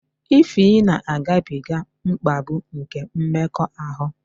Ify na-agabiga mkpagbu nke mmekọahụ